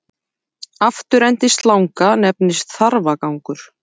Afturendi slanga nefnist þarfagangur.